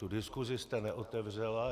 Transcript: Tu diskusi jste neotevřela.